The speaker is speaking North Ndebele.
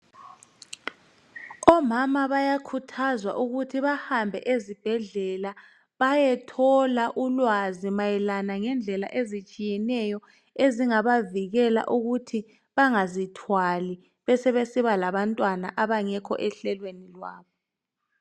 Omama bayakhuthazwa ukuthi bahambe ezibhedlela bayetholwa ulwazi mayelana lendlela ezitshiyeneyo ezingabavikela ukuthi bangazithwali bebesiba labantwana abangekho ehlelweni lwabo.